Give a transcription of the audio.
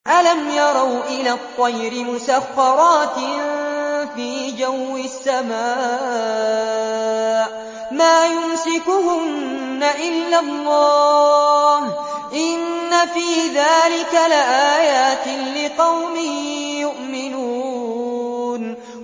أَلَمْ يَرَوْا إِلَى الطَّيْرِ مُسَخَّرَاتٍ فِي جَوِّ السَّمَاءِ مَا يُمْسِكُهُنَّ إِلَّا اللَّهُ ۗ إِنَّ فِي ذَٰلِكَ لَآيَاتٍ لِّقَوْمٍ يُؤْمِنُونَ